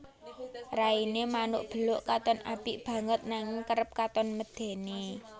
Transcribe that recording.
Rainé manuk beluk katon apik banget nanging kerep katon medèni